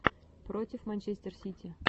против манчестер сити